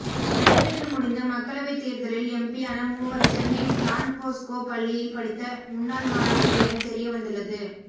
நடைபெற்று முடிந்த மக்களவை தேர்தலில் எம்பியான மூவர் சென்னை டான்போஸ்கோ பள்ளியில் படித்த முன்னாள் மாணவர்கள் என தெரிய வந்துள்ளது